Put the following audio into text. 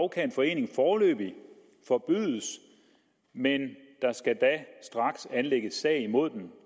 kan en forening foreløbig forbydes men der skal da straks anlægges sag imod